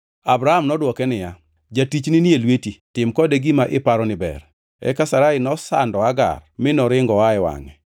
Abram nodwoke niya, “Jatichni ni e lweti, tim kode gima iparo ni ber.” Eka Sarai nosando Hagar; mi noringo oa e wangʼe.